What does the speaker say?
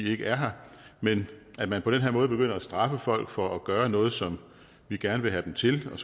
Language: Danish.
ikke er her men at man på den her måde begynder at straffe folk for at gøre noget som vi gerne vil have dem til og